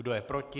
Kdo je proti?